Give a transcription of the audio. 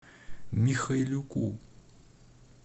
михайлюку